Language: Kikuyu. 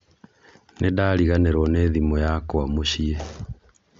Nĩndariganĩrwo nĩ thimũ yakwa mũciĩ